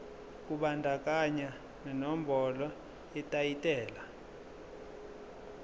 kubandakanya nenombolo yetayitela